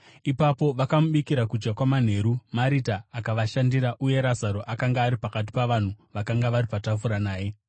Ipapo vakamubikira kudya kwamanheru. Marita akavashandira uye Razaro akanga ari pakati pavanhu vakanga vari patafura naye.